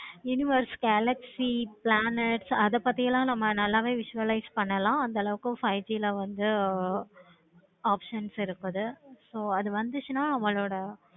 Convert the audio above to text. universe galaxy plan அத பத்தி எல்லாம் நல்லாவே use பண்ணலாம் அந்த அளவுக்கு five G ல வந்து options இருக்குது. அது வந்துச்சின்னா நம்மளோட